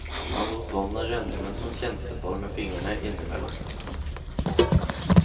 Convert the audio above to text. Han lot vannet renne mens han kjente på det med fingrene innimellom.